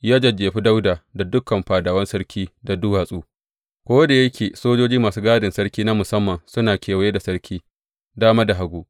Ya jajjefi Dawuda da dukan fadawan sarki da duwatsu, ko da yake sojoji da masu gadin sarki na musamman suna kewaye da sarki dama da hagu.